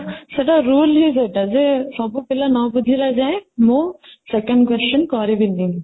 ସେଇଟା rule ହିଁ ସେଇଟା ଯେ ସବୁ ପିଲା ନ ବୁଝିଲା ଯାଏଁ ମୁଁ second question କରିବି ନି